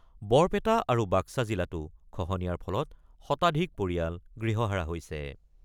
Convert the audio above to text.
বৰপেটা আৰু বাক্সা জিলাতো খহনীয়াৰ ফলত শতাধিক পৰিয়াল গৃহহাৰা হৈছে।